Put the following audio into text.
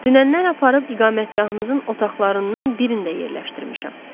Dünəndən aparıb iqamətgahınızın otaqlarından birində yerləşdirmişəm.